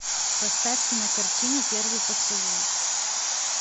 поставь кинокартину первый поцелуй